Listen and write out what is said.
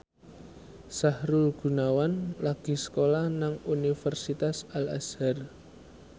Sahrul Gunawan lagi sekolah nang Universitas Al Azhar